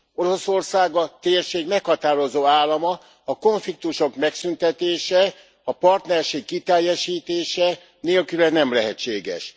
Oroszország a térség meghatározó állama, a konfliktusok megszüntetése, a partnerség kiteljesítése nélküle nem lehetséges.